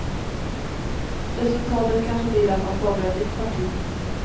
Resultatet kanske blir att han startar ett nytt parti.